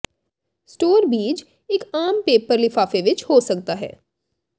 store ਬੀਜ ਇੱਕ ਆਮ ਪੇਪਰ ਲਿਫਾਫੇ ਵਿੱਚ ਹੋ ਸਕਦਾ ਹੈ